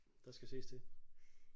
Der skal ses til